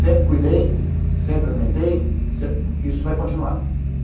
Sempre cuidei, sempre alimentei, sempre, isso vai continuar.